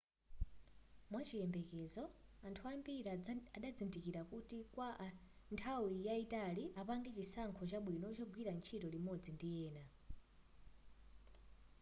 mwachiyembekezo anthu ambiri azadzindikira kuti kwa nthawi yayitali apange chisankho chabwino chogwira ntchito limodzi ndi ena